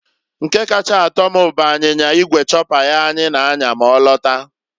Nke kacha atọ m bụ anyinya igwe chopper ya anyị na- anya ma ọ lata.